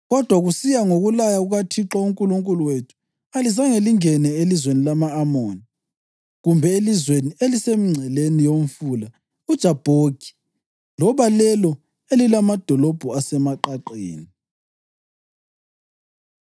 Kodwa kusiya ngokulaya kukaThixo uNkulunkulu wethu, alizange lingene elizweni lama-Amoni, kumbe elizweni elisemingceleni yomfula uJabhoki loba lelo elilamadolobho asemaqaqeni.”